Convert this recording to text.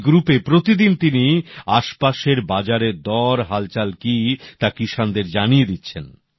এই গ্রুপে প্রতিদিন তিনি আসপাশের বাজারের দর হালচাল কি তা কিষাণদের জানিয়ে দিচ্ছেন